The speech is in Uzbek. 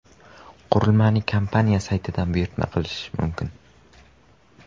Qurilmani kompaniya saytida buyurtma qilish mumkin.